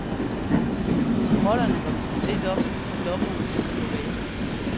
Rollerne var byttet lidt om, da dommeren gik på banen.